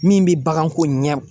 Min bɛ baganko ɲɛ